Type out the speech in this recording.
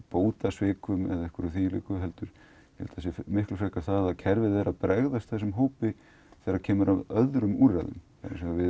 bótasvikum eða þvíumlíku heldur að kerfið er að bregðast þessum hópi þegar kemur að öðrum úrræðum við